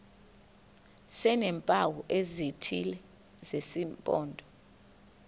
sineempawu ezithile zesimpondo